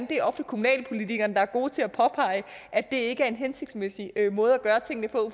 det er ofte kommunalpolitikerne der er gode til at påpege at det ikke er en hensigtsmæssig måde at gøre tingene på